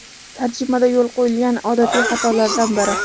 Tarjimada yo‘l qo‘yilgan odatiy xatolardan biri.